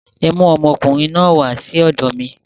Ẹ mú ọmọkùnrin náà wà sí ọ̀dọ̀ mi.